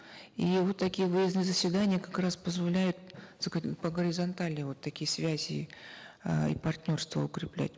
и вот такие выездные заседания как раз позволяют по горизонтали вот такие связи э и партнерства укреплять